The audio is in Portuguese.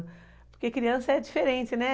Porque criança é diferente, né?